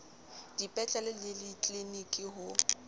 dipetlele le ditliliniki le ho